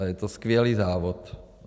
A je to skvělý závod.